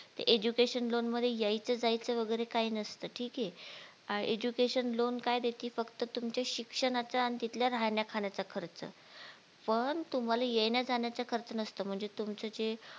education loan मध्ये येयचं जायचं वगैरे काय नसतं ठीक ये education loan काय देती फक्त तुमच्या शिक्षणाचा अन तिथल्या राहण्या खाण्याचा खर्च पण तुम्हाला येण्या जाण्याचा खर्च नसतो म्हणजे तुमचं जे